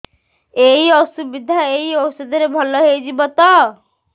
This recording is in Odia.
ଏଇ ଅସୁବିଧା ଏଇ ଔଷଧ ରେ ଭଲ ହେଇଯିବ ତ